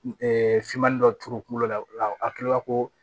finman dɔ turu kunkolo la a kila ko